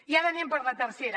i ara anem per la tercera